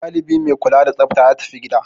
Dalibi mai kula da tsafta ya tafi gida.